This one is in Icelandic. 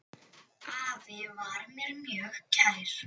Afi var mér mjög kær.